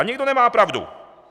A někdo nemá pravdu.